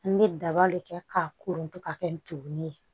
N bɛ daba de kɛ k'a koronto ka kɛ n tolin ye